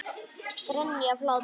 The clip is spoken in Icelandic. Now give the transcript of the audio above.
Grenja af hlátri.